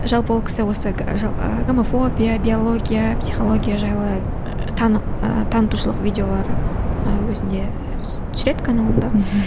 жалпы ол кісі осы гомофобия биология психология жайлы ыыы танытушылық видеолар ыыы өзінде түсіреді каналында мхм